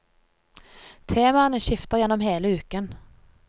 Temaene skifter gjennom hele uken.